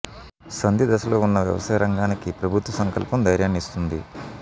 సంధి దశలో ఉన్న వ్యవసాయ రంగానికి ప్రభుత్వ సంకల్పం ధైర్యాన్ని ఇస్తుంది